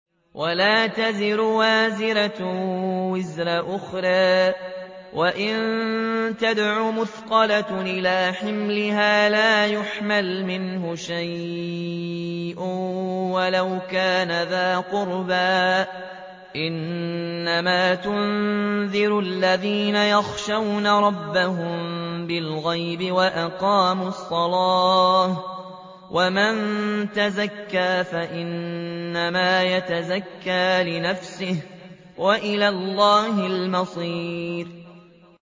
وَلَا تَزِرُ وَازِرَةٌ وِزْرَ أُخْرَىٰ ۚ وَإِن تَدْعُ مُثْقَلَةٌ إِلَىٰ حِمْلِهَا لَا يُحْمَلْ مِنْهُ شَيْءٌ وَلَوْ كَانَ ذَا قُرْبَىٰ ۗ إِنَّمَا تُنذِرُ الَّذِينَ يَخْشَوْنَ رَبَّهُم بِالْغَيْبِ وَأَقَامُوا الصَّلَاةَ ۚ وَمَن تَزَكَّىٰ فَإِنَّمَا يَتَزَكَّىٰ لِنَفْسِهِ ۚ وَإِلَى اللَّهِ الْمَصِيرُ